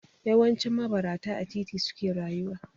Yawancin mabarata a titi suke rayuwa.